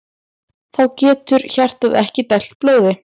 Þá getur hjartað ekki dælt blóði.